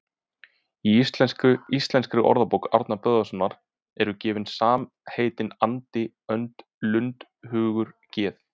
Í Íslenskri orðabók Árna Böðvarssonar eru gefin samheitin andi, önd, lund, hugur, geð